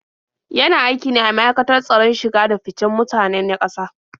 Yana aiki ne a ma'aikatar tsaron shige-da-ficen mutane na ƙasa?